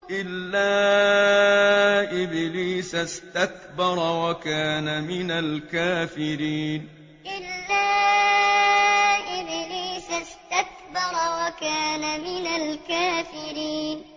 إِلَّا إِبْلِيسَ اسْتَكْبَرَ وَكَانَ مِنَ الْكَافِرِينَ إِلَّا إِبْلِيسَ اسْتَكْبَرَ وَكَانَ مِنَ الْكَافِرِينَ